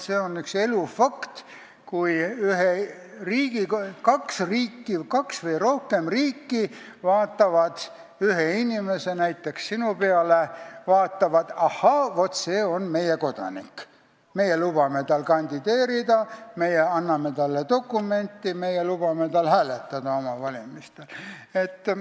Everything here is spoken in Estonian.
See on üks elu fakt, kui kaks või rohkem riiki vaatavad ühe inimese, näiteks sinu peale ja ütlevad, et ahaa, vaat see on meie kodanik, meie lubame tal kandideerida, meie anname talle dokumendi, meie lubame tal oma valimistel hääletada.